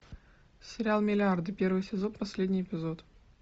сериал миллиарды первый сезон последний эпизод